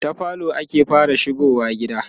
ta falo ake fara shigowa gida